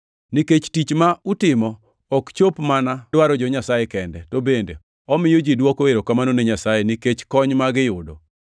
Nikech tich ma utimo ok chop mana dwaro jo-Nyasaye kende, to bende omiyo ji dwoko erokamano ne Nyasaye nikech kony ma giyudo.